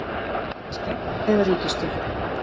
Skegg eða ríkisstjórn